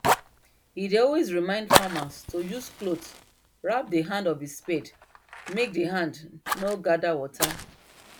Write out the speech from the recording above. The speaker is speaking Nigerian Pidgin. he dey always remind farmers to use cloth wrap the hand of the spade make d hand nor gather water